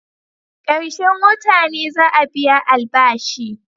Karshen wota ne za'a biya albashi.